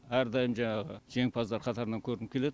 әрдайым жаңағы жеңімпаздар қатарынан көрініп келед